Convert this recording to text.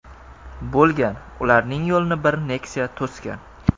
bo‘lgan), ularning yo‘lini bir Nexia to‘sgan.